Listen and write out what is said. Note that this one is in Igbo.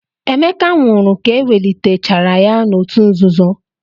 Emeka nwụrụ ka ewelitechara ya n'òtù nzuzo.